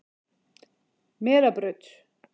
Melabraut